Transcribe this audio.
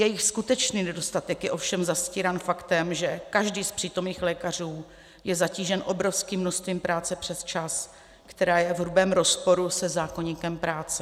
Jejich skutečný nedostatek je ovšem zastírán faktem, že každý z přítomných lékařů je zatížen obrovským množstvím práce přes čas, která je v hrubém rozporu se zákoníkem práce.